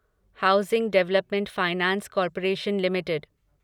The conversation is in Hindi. housing development finance corporation limited